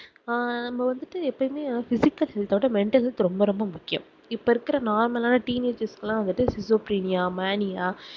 ஆஹ் நம்ம வந்துட்டு எப்போமே physical health அஹ் விட mentally ரொம்ப ரொம்ப முக்கியம் இப்போ இருக்குற normal ஆஹ் teenageishapheniya maeyniya